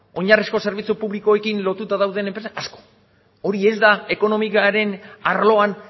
oinarrizko zerbitzu publikoekin lotuta dauden enpresak asko hori ez da ekonomiaren arloan